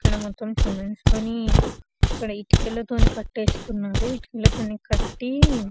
ఇక్కడ మొత్తం సిమెంటు తోని ఇక్కడ ఇటుకల తోని కట్టేస్తున్నారు ఇటుకలతోని కట్టి--